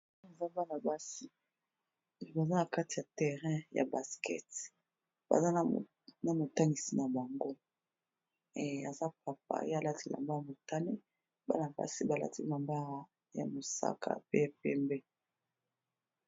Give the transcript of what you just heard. Eza bana basi baza na kati ya terrain ya basket, baza na motangisi na bango. Aza papa ye alati elamba ya motane bana basi ba lati ya mosaka pe pembe.